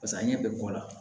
pase a ɲɛ bɛ bɔ a la